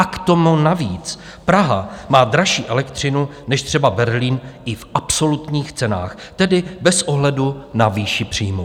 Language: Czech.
A k tomu navíc Praha má dražší elektřinu než třeba Berlín i v absolutních cenách, tedy bez ohledu na výši příjmů.